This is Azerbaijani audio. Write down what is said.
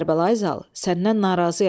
Kərbəlayı Zal, səndən narazıyam.